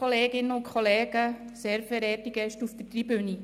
bisherige Präsidentin der JuKo.